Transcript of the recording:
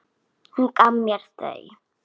Hún gaf mér þau.